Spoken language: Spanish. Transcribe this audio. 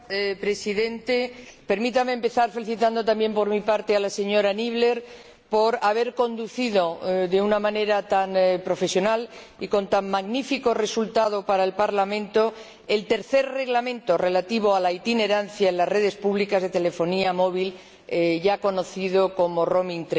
Señor Presidente, permítame empezar felicitando, también por mi parte, a la señora Niebler por haber conducido de una manera tan profesional y con tan magnífico resultado para el Parlamento el tercer Reglamento relativo a la itinerancia en las redes públicas de comunicaciones móviles en la Unión, ya conocido como Roaming